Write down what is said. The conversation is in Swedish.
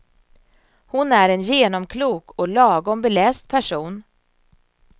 Hon är en genomklok och lagom beläst person.